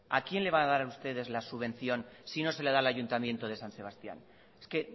a quién van a dar ustedes la subvención si no se la dan al ayuntamiento de san sebastián es que